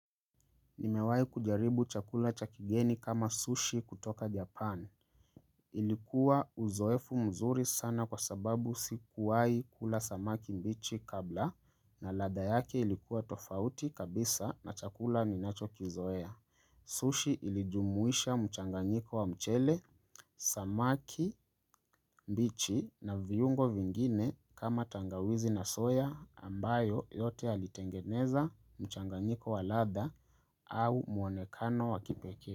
Nimewahi kujaribu chakula cha kigeni kama sushi kutoka Japan. Ilikuwa uzoefu mzuri sana kwa sababu si kuwahi kula samaki mbichi kabla na ladha yake ilikuwa tofauti kabisa na chakula ni nacho kizoea. Sushi ilijumuisha mchanganyiko wa mchele, samaki mbichi na viungo vingine kama tangawizi na soya ambayo yote alitengeneza mchanganyiko wa ladha au mwonekano wa kipekee.